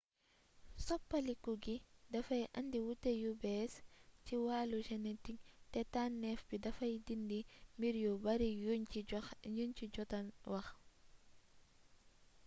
soppaliku gi dafay indi wuute yu bees ci wàllu genetik te tànneef bi dafay dindi mbir yu bari yuñ ci jota wax